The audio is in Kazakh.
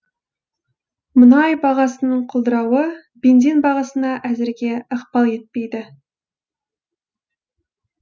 мұнай бағасының құлдырауы бензин бағасына әзірге ықпал етпейді